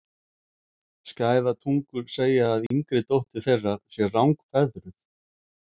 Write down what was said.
Skæðar tungur segja að yngri dóttir þeirra sé rangfeðruð.